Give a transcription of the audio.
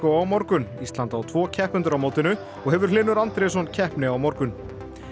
á morgun ísland á tvo keppendur á mótinu og hefur Hlynur Andrésson keppni á morgun